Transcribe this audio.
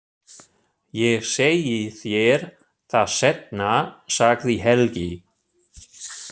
Ég segi þér það seinna, sagði Helgi.